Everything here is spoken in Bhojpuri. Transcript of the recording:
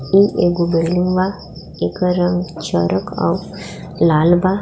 इ एगो बिल्डिंग बा इकर रंग चरक अउर लाल बा।